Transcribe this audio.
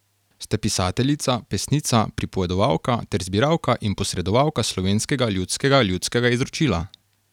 Ste pisateljica, pesnica, pripovedovalka ter zbiralka in posredovalka slovenskega ljudskega ljudskega izročila.